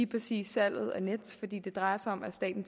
præcis salget af nets fordi det drejer sig om at staten